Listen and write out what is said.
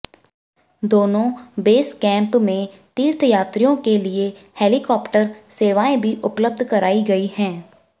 दोनों base camp में तीर्थयात्रियों के लिए हेलिकॉप्टर सेवाएं भी उपलब्ध कराई गई हैं